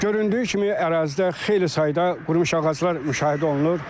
Göründüyü kimi ərazidə xeyli sayda qurumuş ağaclar müşahidə olunur.